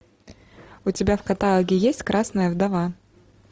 у тебя в каталоге есть красная вдова